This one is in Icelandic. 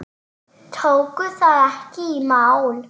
Tóku það ekki í mál.